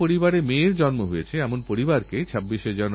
কারণ আমাদের গোটা আর্থিক চিত্রেরকেন্দ্রবিন্দুতে আছে বর্ষা আর চাষাবাদ